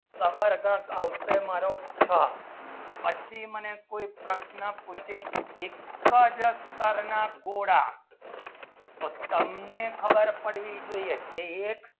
જબરદસ્ત આવશે મારો છ પછી મને કોઈ પ્રશ્ન પૂછી એકચ અંતર ના ગોડા તમને ખબર પડવી જોઈએ કે એક